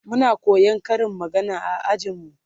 Muna koyan Karin magana a ajin mu